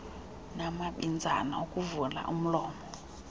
namabinzana okuvula umlomo